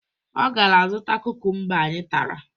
Ọ gara zụta kukumba anyị tara